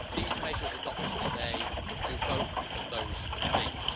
These measures adopted today do both of those things.